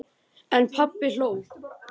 En pabbi hló.